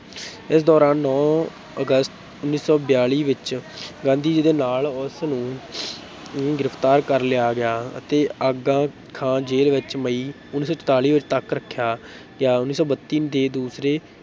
ਇਸ ਦੌਰਾਨ ਨੌਂ ਅਗਸਤ ਉੱਨੀ ਸੌ ਬਿਆਲੀ ਵਿੱਚ ਗਾਂਧੀ ਜੀ ਦੇ ਨਾਲ ਉਸ ਨੂੰ ਨੂੰ ਗਿਰਫਤਾਰ ਕਰ ਲਿਆ ਗਿਆ ਅਤੇ ਆਗਾ ਖਾਂ ਜੇਲ੍ਹ ਵਿੱਚ ਮਈ ਉੱਨੀ ਸੌ ਚੁਤਾਲੀ ਤੱਕ ਰੱਖਿਆ ਗਿਆ, ਉੱਨੀ ਸੌ ਬੱਤੀ ਦੇ ਦੂਸਰੇ